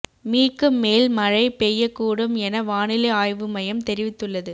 மீக்கு மேல் மழை பெய்யக்கூடும் என வானிலை ஆய்வு மையம் தெரிவித்துள்ளது